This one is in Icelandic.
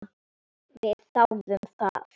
Við þáðum það.